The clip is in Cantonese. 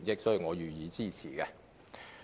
所以，我予以支持。